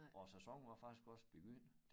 Og sæsonen var faktisk også begyndt